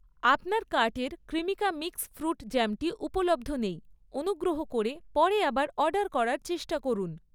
আপনার কার্টের Cremica mix fruit জ্যামটি উপলব্ধ নেই, অনুগ্রহ করে পরে আবার অর্ডার করার চেষ্টা করুন।